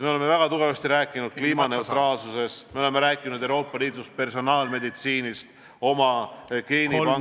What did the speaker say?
Me oleme väga tugevasti rääkinud kliimaneutraalsusest, me oleme rääkinud Euroopa Liidust, personaalmeditsiinist, oma geenipangast.